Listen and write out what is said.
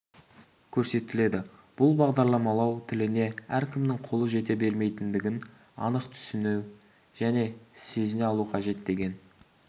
көрсетіледі бұл бағдарламалау тіліне әркімнің қолы жете бермейтіндігін анық түсіне және сезіне алу қажет деген